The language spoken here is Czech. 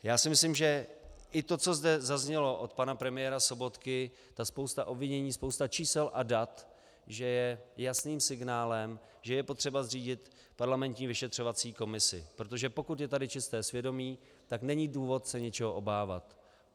Já si myslím, že i to, co zde zaznělo od pana premiéra Sobotky, ta spousta obvinění, spousta čísel a dat, že je jasným signálem, že je potřeba zřídit parlamentní vyšetřovací komisi, protože pokud je tady čisté svědomí, tak není důvod se něčeho obávat.